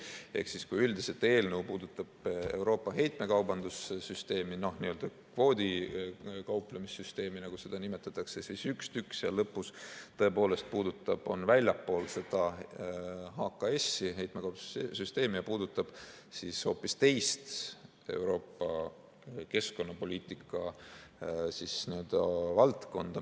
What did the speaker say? Ehk kui üldiselt eelnõu puudutab Euroopa heitmekaubanduse süsteemi, kvoodiga kauplemise süsteemi, nagu seda nimetatakse, siis üks tükk seal lõpus tõepoolest on väljaspool seda HKS-i, heitmekaubanduse süsteemi ja puudutab hoopis teist Euroopa keskkonnapoliitika valdkonda.